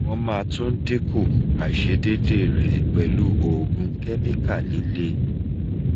won ma tun dinku aisedede re pelu oogun chemical lile